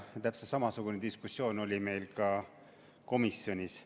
Täpselt samasugune diskussioon oli meil ka komisjonis.